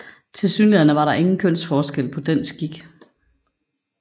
Tilsyneladende var der ingen kønsforskel på den skik